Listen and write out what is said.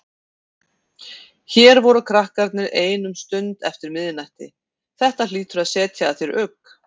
Hér voru krakkarnir ein um stund eftir miðnætti, þetta hlýtur að setja að þér ugg?